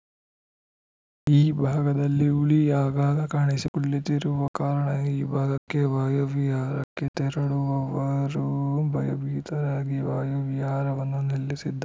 ಈ ಭಾಗದಲ್ಲಿ ಹುಲಿ ಆಗಾಗ ಕಾಣಿಸಿಕೊಳ್ಳುತ್ತಿರುವ ಕಾರಣ ಈ ಭಾಗಕ್ಕೆ ವಾಯು ವಿಹಾರಕ್ಕೆ ತೆರಳುವವರು ಭಯಭೀತರಾಗಿ ವಾಯುವಿಹಾರವನ್ನು ನಿಲ್ಲಿಸಿದ್ದಾ